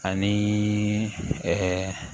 Ani